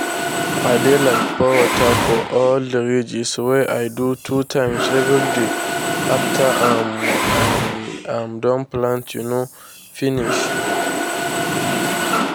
i dey like pour water for all the ridges wey i do two times everyday after um i um don plant um finish.